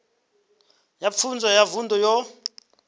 ya pfunzo ya vunḓu yo